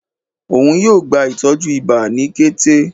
òún yóò gbá ìtọjú ìbá ni kété